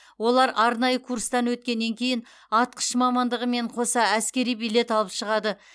олар арнайы курстан өткеннен кейін атқыш мамандығымен қоса әскери билет алып шығады